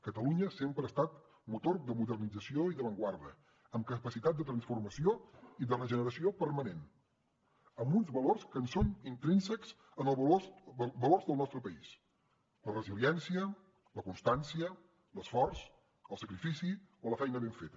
catalunya sempre ha estat motor de modernització i d’avantguarda amb capacitat de transformació i de regeneració permanent amb uns valors que són intrínsecs als valors del nostre país la resiliència la constància l’esforç el sacrifici o la feina ben feta